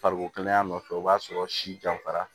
Fariko kɛnɛya nɔfɛ o b'a sɔrɔ si janfara